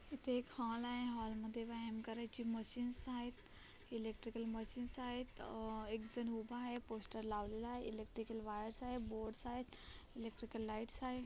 इथे एक हॉल आहे हॉल मध्ये व्यायाम करायची मशीन्स आहेत इलेक्ट्रिकल मशीन्स आहेत अ एकजन उभा आहे पोस्टर लावलेला आहे इलेक्ट्रिकल वायर्स आहे बोर्ड्स आहेत इलेक्ट्रिकल लाईट्स आहे.